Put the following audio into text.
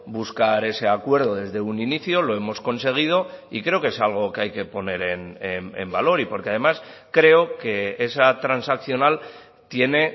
buscar ese acuerdo desde un inicio lo hemos conseguido y creo que es algo que hay que poner en valor y porque además creo que esa transaccional tiene